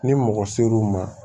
Ni mɔgɔ ser'u ma